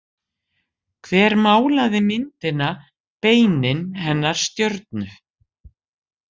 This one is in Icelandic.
Hver málaði myndina Beinin hennar stjörnu?